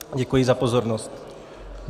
Děkuji za pozornost.